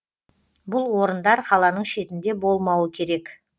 бұл орындар қаланың шетінде болмауы керек